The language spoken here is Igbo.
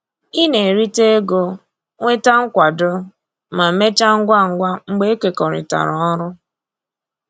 Ị na-erita ego, nweta nkwado, ma mechaa ngwa ngwa mgbe e kekọrịtara ọrụ